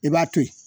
I b'a to ye